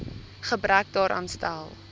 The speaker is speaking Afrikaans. gebrek daaraan stel